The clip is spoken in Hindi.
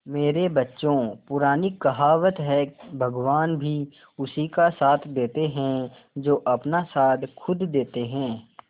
मेरे बच्चों पुरानी कहावत है भगवान भी उसी का साथ देते है जो अपना साथ खुद देते है